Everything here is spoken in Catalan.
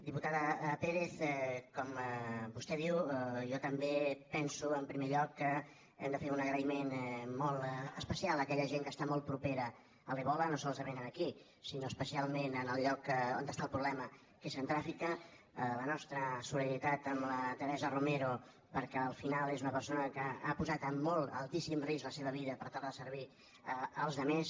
diputada pérez com vostè diu jo també penso en primer lloc que hem de fer un agraïment molt especial a aquella gent que està molt propera a l’ebola no solament aquí sinó especialment en el lloc on està el problema que és centreàfrica la nostra solidaritat amb la teresa romero perquè al final és una persona que ha posat en molt altíssim risc la seva vida per tal de servir als altres